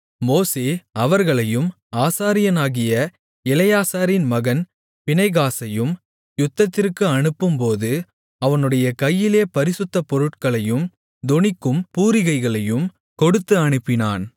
மோசே அவர்களையும் ஆசாரியனாகிய எலெயாசாரின் மகன் பினெகாசையும் யுத்தத்திற்கு அனுப்பும்போது அவனுடைய கையிலே பரிசுத்த பொருட்களையும் தொனிக்கும் பூரிகைகளையும் கொடுத்து அனுப்பினான்